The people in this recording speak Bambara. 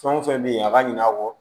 Fɛn o fɛn bɛ yen a ka ɲina a kɔ